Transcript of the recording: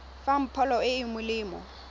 fang pholo e e molemo